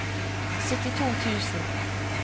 syttito tusen